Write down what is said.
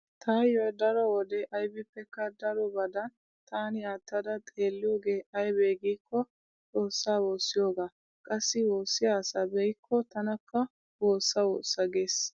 Taayyoo daro wode aybippekka darobadan taani aattada xeelliyoge aybee giikko xoossaa woossiyogaa. Qassi woossiya asaa be'kko tanakka woossa woossa gees.